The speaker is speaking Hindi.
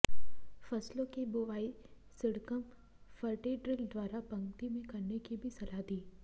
फसलों की बुवाई सीडकम फर्टीड्रिल द्वारा पंक्ति में करने की भी सलाह दी